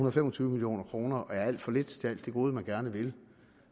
og fem og tyve million kroner er alt for lidt til alt det gode man gerne vil